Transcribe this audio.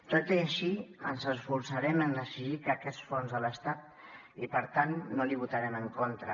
tot i així ens esforçarem a exigir aquests fons de l’estat i per tant no l’hi votarem en contra